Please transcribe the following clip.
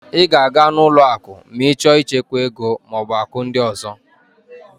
Ị ga-aga n'ụlọ akụ ma ị chọọ ichekwa ego maọbụ akụ ndị ọzọ